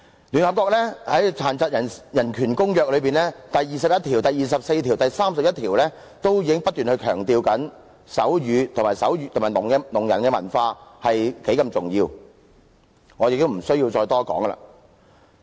聯合國在《殘疾人權利公約》第二十一條、第二十四條及第三十一條中不斷強調手語及聾人的文化有多重要，我亦不需要再多談。